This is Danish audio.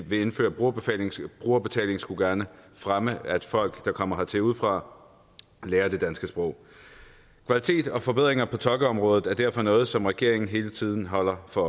vil indføre brugerbetaling brugerbetaling skulle gerne fremme at folk der kommer hertil udefra lærer det danske sprog kvalitet og forbedringer på tolkeområdet er derfor noget som regeringen hele tiden holder sig